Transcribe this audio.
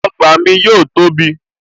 Ọgbà mi yóò tóbi